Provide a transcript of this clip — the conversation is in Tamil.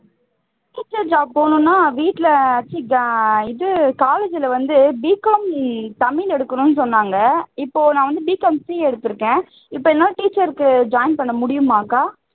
teacher job போணும்னா வீட்ல இது college ல வந்து B com தமிழ் எடுக்கணும்னு சொன்னாங்க இப்போ நான் வந்து B com CA எடுத்துருக்கேன் இப்போ என்னால teacher க்கு join பண்ண முடியுமாக்கா